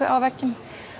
á vegginn